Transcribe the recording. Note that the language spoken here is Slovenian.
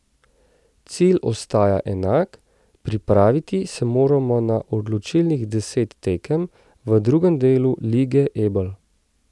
Cilj ostaja enak, pripraviti se moramo na odločilnih deset tekem v drugem delu Lige Ebel.